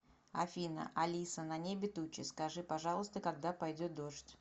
афина алиса на небе тучи скажи пожалуйста когда пойдет дождь